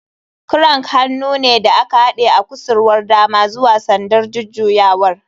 Crank hannu ne da aka haɗe a kusurwar dama zuwa sandar jujjuyawar.